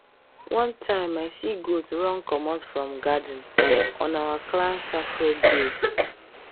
one time i see goat run comot from garden on our clan sacred day